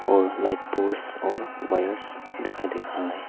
और light post और wires दिखाई दे रहा है।